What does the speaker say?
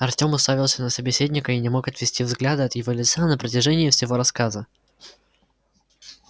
артём уставился на собеседника и не мог отвести взгляда от его лица на протяжении всего рассказа